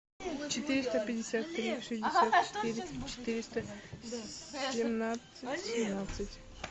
четыреста пятьдесят три шестьдесят четыре четыреста семнадцать семнадцать